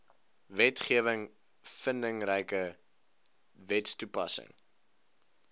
wetgewing vindingryke wetstoepassing